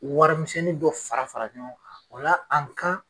Warimisɛnnin dɔ fara fara ɲɔgɔn kan a kan